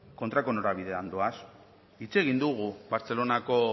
kontrako norabidean doaz hitz egin dugu bartzelonako